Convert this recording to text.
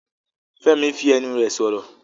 Fẹ́mi fi ẹnu rẹ̀ sọ̀rọ̀.